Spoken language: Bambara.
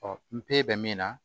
n pe bɛ min na